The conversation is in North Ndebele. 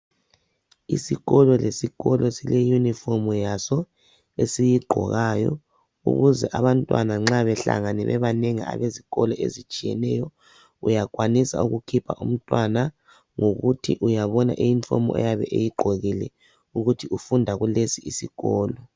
isikolo lesikolo sile uniform yaso esiyigqokayo ukuze abantwana nxa behlangane abezikolo ezitshiyeneyo uyakhwanisa kukhipha umntwana ngokuthi uyabona i uniform ayabe eyigqokile ukuthi ufunda kulesi isikolo